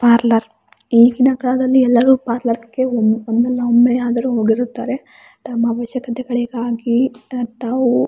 parlour ಈಗಿನ ಕಾಲದಲ್ಲಿ ಎಲ್ಲರು ಪಾರ್ಲರ್ ಕೆ ಒ ಒಂದಲ್ಲ ಒಮ್ಮೆಯಾದರು ಹೋಗಿರುತ್ತಾರೆ ತಮ್ಮ ಅವಶ್ಯಕತೆಗಳಿಗಾಗಿ ಅ ತಾವು --